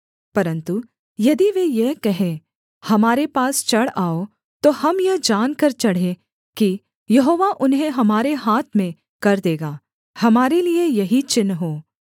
परन्तु यदि वे यह कहें हमारे पास चढ़ आओ तो हम यह जानकर चढ़ें कि यहोवा उन्हें हमारे हाथ में कर देगा हमारे लिये यही चिन्ह हो